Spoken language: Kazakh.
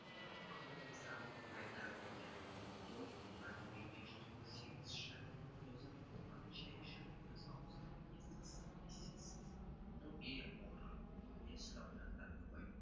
алпамыс алпамыс ағаң қайда деп ой аға үйге жүрсеңізші өз қолынан шай ішіп өз аузынан естисіз жоқ ей бауырым жәй сұрап жатқаным ғой